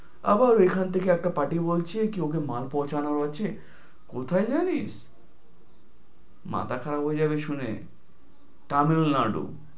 আবার ওখান থেকে একটা party বলছে কেউ কি মাল পৌছানোর আছে, কোথায় জানিস? মাথা খারাপ হয়ে যাবে শুনে, তামিল নাড়ু।